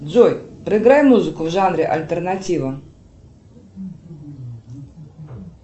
джой проиграй музыку в жанре альтернатива